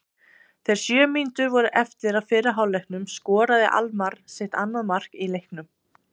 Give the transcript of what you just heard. Þegar sjö mínútur voru eftir af fyrri hálfleiknum skoraði Almarr sitt annað mark í leiknum.